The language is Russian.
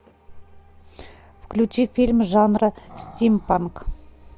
включи фильм жанра стимпанк